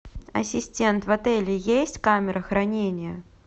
ассистент в отеле есть камера хранения